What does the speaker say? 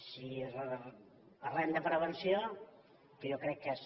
si parlem de prevenció que jo crec que és